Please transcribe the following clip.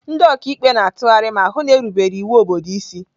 Ndị ọka ikpe na-atụgharị ma hụ na a na-erubere iwu obodo isi.